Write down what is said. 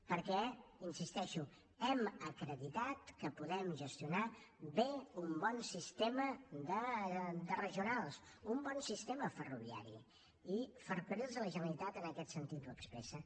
perquè hi insisteixo hem acreditat que podem gestionar bé un bon sistema de regionals un bon sistema ferroviari i ferrocarrils de la generalitat en aquest sentit ho expressa